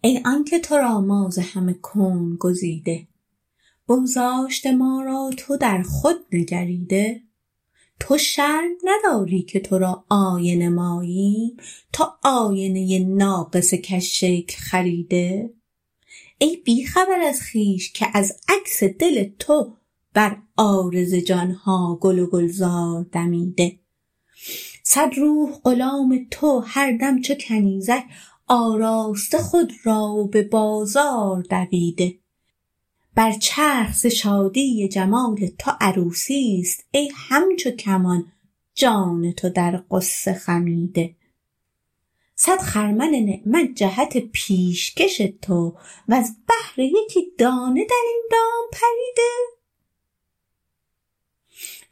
ای آنک تو را ما ز همه کون گزیده بگذاشته ما را تو و در خود نگریده تو شرم نداری که تو را آینه ماییم تو آینه ناقص کژشکل خریده ای بی خبر از خویش که از عکس دل تو بر عارض جان ها گل و گلزار دمیده صد روح غلام تو و هر دم چو کنیزک آراسته خود را و به بازار دویده بر چرخ ز شادی جمال تو عروسی است ای همچو کمان جان تو در غصه خمیده صد خرمن نعمت جهت پیشکش تو وز بهر یکی دانه در این دام پریده